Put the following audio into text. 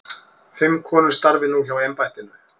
Fimm konur starfi nú hjá embættinu.